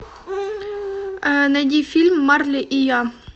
найди фильм марли и я